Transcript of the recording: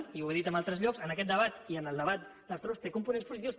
i ho he dit en altres llocs en aquest debat i en el debat dels toros té components positius